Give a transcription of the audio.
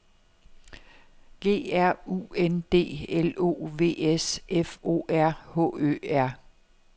G R U N D L O V S F O R H Ø R